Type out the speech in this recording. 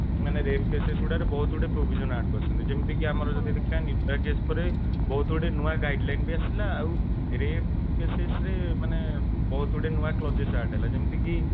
rape cases ଗୁଡାକ ରେ ବହୁତ ସାରା provision add କରିଛନ୍ତି ଯେମିତି କି ଆମର ଯଦି ଦେଖିବା ନିର୍ଭୟା case ପରେ ବହୁତ ଗୁଡେ ନୂଆ guideline ବି ଆସିଲା ଆଉ rape cases ରେ ମାନେ ବହୁତ ଗୁଡେ clauses add ହେଲା ଯେମିତିକି